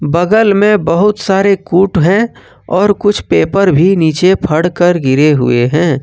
बगल में बहुत सारे कूट है और कुछ पेपर भी नीचे फ़ढ़ कर गिरे हुए हैं।